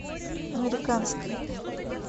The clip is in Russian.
американские